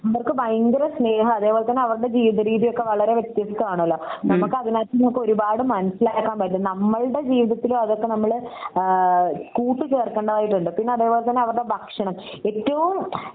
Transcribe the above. ഇവർക്ക് ഭയങ്കര സ്നേഹാ അതേപോലെ തന്നെ അവരുടെ ജീവിത രീതി ഒക്കെ വളരെ വ്യത്യസ്തമാണല്ലോ നമുക് അതിനകത്തുന്ന് ഒക്കെ ഒരുപാട് മനസിലാക്കാൻ പറ്റും നമ്മളുടെ ജീവിതത്തിലും അതൊക്ക നമ്മൾ ആഹ് കൂട്ടീച്ചർക്കേണ്ടതായിട്ടുണ്ട്. പിന്നെ അതേപോലെ തന്നെ അവരുടെ ഭക്ഷണം ഏറ്റവും